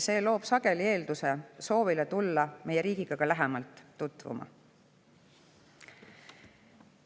See loob sageli eelduse soovile tulla meie riigiga lähemalt tutvuma.